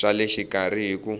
swa le xikarhi hi ku